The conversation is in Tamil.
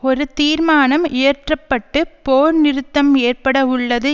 ஒரு தீர்மானம் இயற்றப்பட்டு போர் நிறுத்தம் ஏற்பட உள்ளது